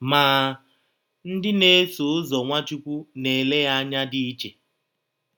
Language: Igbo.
Ma, ndị na - eso ụzọ Nwachụkwụ na - ele ya anya dị iche.